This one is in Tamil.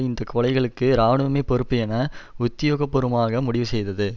இந்த கொலைகளுக்கு இராணுவமே பொறுப்பு என உத்தியோகபூர்வமாக முடிவு செய்தது